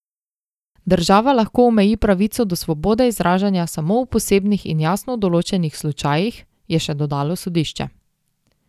Država lahko omeji pravico do svobode izražanja samo v posebnih in jasno določenih slučajih, je še dodalo sodišče.